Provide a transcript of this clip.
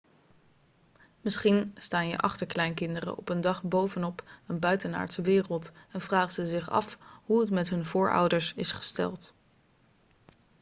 misschien staan je achterkleinkinderen op een dag bovenop een buitenaardse wereld en vragen ze zich af hoe het met hun voorouders is gesteld